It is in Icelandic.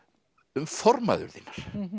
um formæður þínar